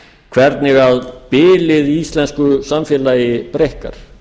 hvernig bilið í íslensku samfélagi breikkar